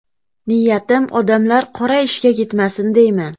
Niyatim odamlar qora ishga ketmasin deyman.